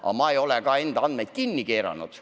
Aga ma ei ole neid ka kinni keeranud.